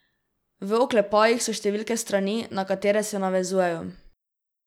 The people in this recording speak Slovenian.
V oklepajih so številke strani, na katere se navezujejo.